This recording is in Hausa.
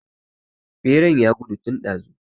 Beran ya gudu tun ɗazu